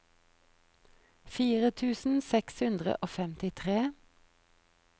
fire tusen seks hundre og femtitre